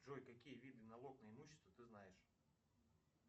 джой какие виды налог на имущество ты знаешь